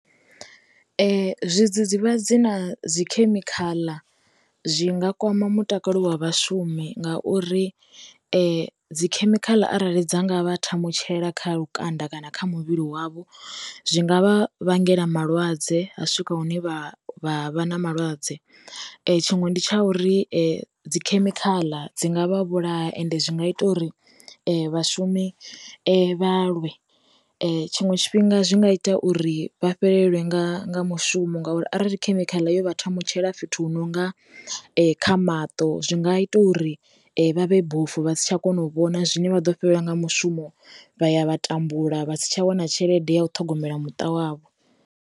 Zwi dzidzivhadzi na dzi khemikhala zwi nga kwama mutakalo wa vhashumi nga uri dzikhemikhala arali dza ngavha ṱhamu ṱutshela kha lukanda kana kha muvhili wavho zwi ngavha vhangela malwadze ha swika hune vha vha vha na malwadze. Tshiṅwe ndi tsha uri dzi khemikhala dzi ngavha vhulaha ende zwi nga ita uri vhashumi vha lwe, tshiṅwe tshifhinga zwi nga ita uri vha fhelelwe nga mushumo ngauri arali khemikhala yo vha thamutshela fhethu hu nonga kha maṱo zwi nga ita uri vha vhe bofu vha si tsha kona u vhona zwine vha ḓo fhelelwa nga mushumo vha ya vha tambula vha si tsha wana tshelede ya u ṱhogomela muṱa wavho.